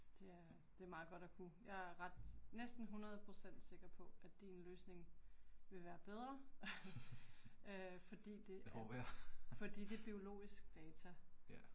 Det er det er meget godt at kunne. Jeg er ret, næsten 100 % sikker på, at din løsning vil være bedre, ***nonverbal** øh fordi det er biologisk data